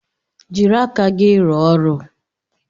Jiri aka gị rụọ ọrụ!